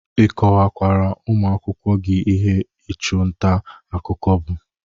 Ị kọwakwara ụmụakwụkwọ gi ihe ịchụ nta akụkọ bụ?